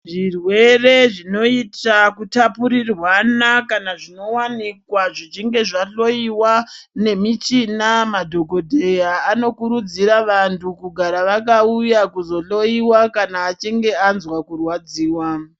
Zvirwere zvinoyita kutapurirwana kana zvinowanikwa zvichinge zvahloyiwa nemichina . Madhokodheya anokurudzira vantu kugara vakawuya kuzohloyiwa kana achinge anzva kurwadziwa.